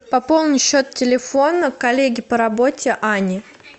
пополни счет телефона коллеги по работе ани